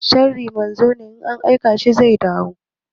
Sharri manzo ne, in an aika shi zai dawo.